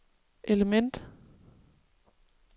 element